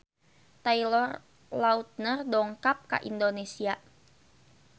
Taylor Lautner dongkap ka Indonesia